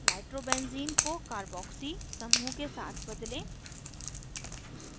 nitrobenzene nitrobenzene को carboxy carboxy समूह के साथ बदलें